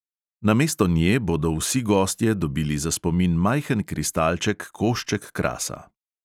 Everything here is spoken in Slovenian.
Namesto nje bodo vsi gostje dobili za spomin majhen kristalček, košček krasa.